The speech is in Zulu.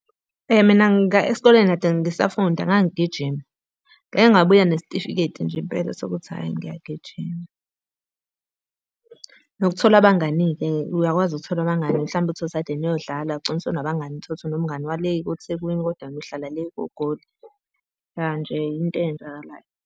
Mina esikoleni kade ngisafunda ngangigigijima. Ngake ngabuya nesitifiketi nje impela sokuthi hhayi niyagijima. Nokuthola abangani-ke, uyakwazi ukuthola abangani mhlampe uthole ukuthi kade niyodlala, wagcina usunabangani. Uthole ukuthi unomngani wale koThekwini, kodwa wena uhlala le koGoli. Ya nje yinto eyenzakalayo.